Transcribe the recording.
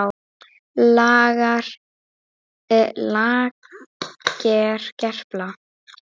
LAGER GERLA